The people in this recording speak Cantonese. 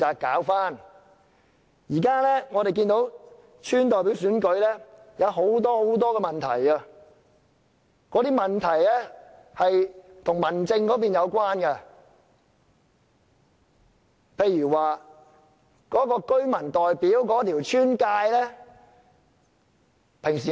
我們看到現時的村代表選舉有很多問題，這些問題均與民政有關，其中一個例子是鄉村的劃界。